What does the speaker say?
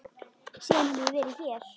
Síðan hef ég verið hér.